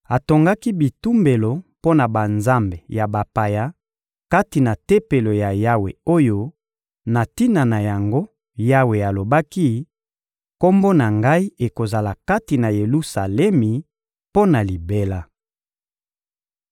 Atongaki bitumbelo mpo na banzambe ya bapaya kati na Tempelo ya Yawe oyo, na tina na yango, Yawe alobaki: «Kombo na Ngai ekozala kati na Yelusalemi mpo na libela.»